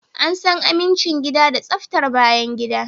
An san amincin gida da tsaftar bayangida